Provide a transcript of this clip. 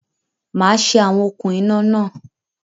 Màá ṣe awọn okùn iná náà